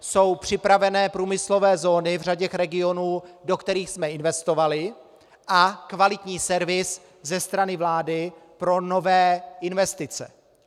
Jsou připravené průmyslové zóny v řadě regionů, do kterých jsme investovali, a kvalitní servis ze strany vlády pro nové investice.